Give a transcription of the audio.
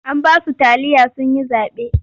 An ba su taliya sun yi zaɓe.